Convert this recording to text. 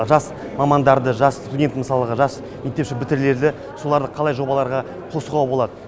жас мамандарды жас студент мысалға жас мектеп бітірулерді соларды қалай жобаларға қосуға болады